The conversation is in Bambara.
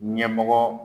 Ɲɛmɔgɔ